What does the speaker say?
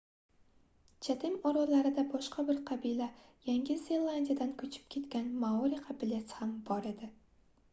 chatem orollarida boshqa bir qabila yangi zelandiyadan koʻchib ketgan maori qabilasi ham bor edi